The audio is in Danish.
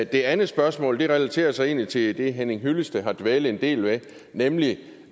det andet spørgsmål relaterer sig egentlig til det henning hyllested har dvælet en del ved nemlig